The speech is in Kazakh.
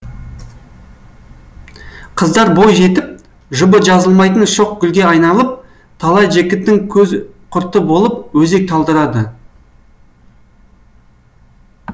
қыздар бой жетіп жұбы жазылмайтын шоқ гүлге айналып талай жігіттің көз құрты болып өзек талдырады